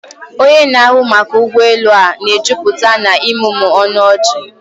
Onye na-ahụ maka ụgbọ elu a na-ejupụta na ịmụmụ ọnụ ọchị.